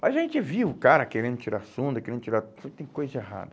Mas a gente viu o cara querendo tirar a sonda, querendo tirar tudo, tem coisa errada.